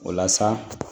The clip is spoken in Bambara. O la sa